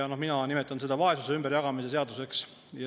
Mina nimetan seda vaesuse ümberjagamise seaduseks.